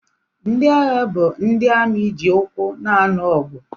Ndị agha bụ ndị amị ji ụkwụ na-alụ ọgụ.